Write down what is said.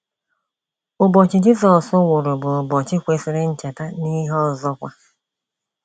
Ụbọchị Jizọs nwụrụ bụ ụbọchị kwesịrị ncheta n’ihe ọzọkwa.